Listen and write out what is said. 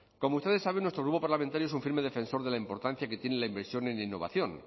como ustedes saben nuestro grupo parlamentario es un firme defensor de la importancia que tiene la inversión en innovación